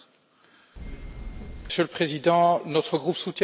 Monsieur le Président, notre groupe soutient la demande.